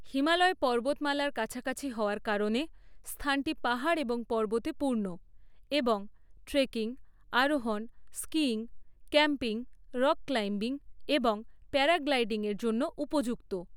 হিমালয় পর্বতমালার কাছাকাছি হওয়ার কারণে, স্থানটি পাহাড় এবং পর্বতে পূর্ণ এবং ট্রেকিং, আরোহণ, স্কিইং, ক্যাম্পিং, রক ক্লাইম্বিং এবং প্যারাগ্লাইডিংয়ের জন্য উপযুক্ত।